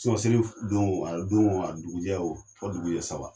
Selif don a don a dugujɛɛ o fɔ dugujɛɛ saba.